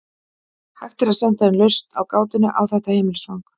Hægt er að senda inn lausn á gátunni á þetta netfang.